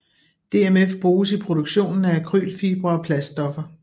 DMF bruges i produktionen af akrylfibre og plaststoffer